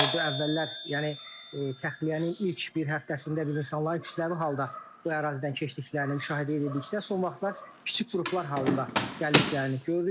Əvvəllər, yəni, təxliyənin ilk bir həftəsində biz insanlar kütləvi halda bu ərazidən keçdiklərini müşahidə edirdiksə, son vaxtlar kiçik qruplar halında gəldiklərini görürük.